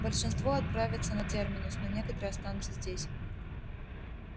большинство отправятся на терминус но некоторые останутся здесь